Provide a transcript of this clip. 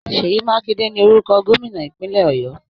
Sèyí Mákindé ni orúkọ Gómìnà ìpínlẹ̀ Ọ̀yọ́